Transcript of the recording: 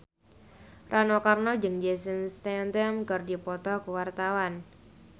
Rano Karno jeung Jason Statham keur dipoto ku wartawan